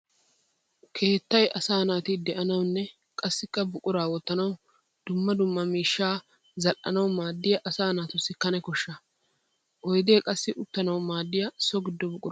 Keettay asaa naati de'annawunne qassikka buqura wotannawu dumma dumma miishsha zali'annawu maadiya asaa naatussi kane kosha. Oydde qassi uttanawu maadiya so gido buqura.